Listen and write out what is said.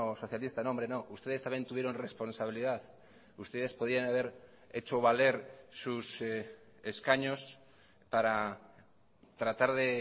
socialista no hombre no ustedes también tuvieron responsabilidad ustedes podían haber hecho valer sus escaños para tratar de